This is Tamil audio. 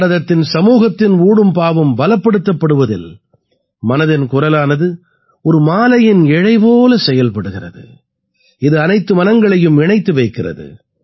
பாரதத்தின் சமூகத்தின் ஊடும் பாவும் பலப்படுத்தப்படுவதில் மனதின் குரலானது ஒரு மாலையின் இழை போல செயல்படுகிறது இது அனைத்து மனங்களையும் இணைத்து வைக்கிறது